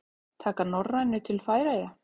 Taka Norrænu til Færeyja?